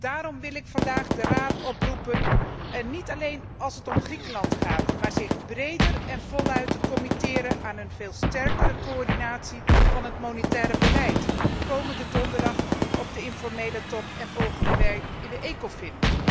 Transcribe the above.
Daarom wil ik vandaag de Raad oproepen, niet alleen als het om Griekenland gaat, om zich breder en voluit te committeren aan een veel sterkere coördinatie van het monetaire beleid komende donderdag op de informele top alsook volgende week in de Ecofin.